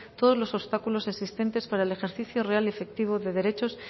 todos los obstáculos existentes para el ejercicio real y efectivo de derechos